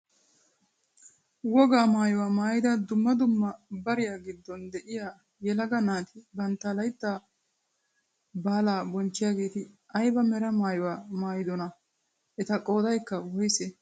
Wogaa maayuwaa maayida dumma dumma bariyaa giddon de'iyaa yelaga naati bantta layttaa baalaa bonchchiyaageti ayba mera maayuwaa maayidonaa? eta qoodaykka woysee?